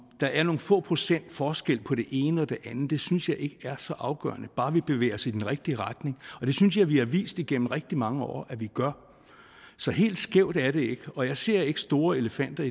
der er nogle få procent forskel på det ene og det andet synes jeg ikke er så afgørende bare vi bevæger os i den rigtige retning og det synes jeg vi har vist igennem rigtig mange år at vi gør så helt skævt er det ikke og jeg ser ikke store elefanter